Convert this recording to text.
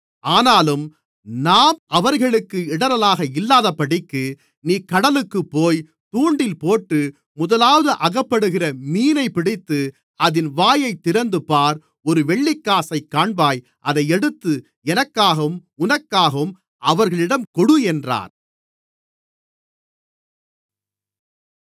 ஆனாலும் நாம் அவர்களுக்கு இடறலாக இல்லாதபடிக்கு நீ கடலுக்குப்போய் தூண்டில்போட்டு முதலாவது அகப்படுகிற மீனைப் பிடித்து அதின் வாயைத் திறந்துபார் ஒரு வெள்ளிக்காசைக் காண்பாய் அதை எடுத்து எனக்காகவும் உனக்காகவும் அவர்களிடம் கொடு என்றார்